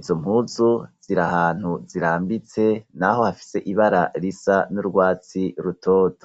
,izo mpuzu zir'ahantu zirambitse naho hafise ibara risa n'urwatsi rutoto.